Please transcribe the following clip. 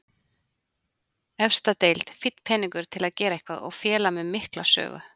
Efsta deild, fínn peningur til að gera eitthvað og félag með mikla sögu.